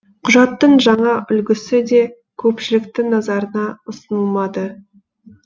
құжаттың жаңа үлгісі де көпшіліктің назарына ұсынылмады